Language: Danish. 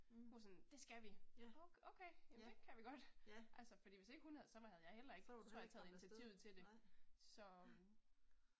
Mh, ja, ja, ja. Så var du heller ikke kommet afsted, nej, ja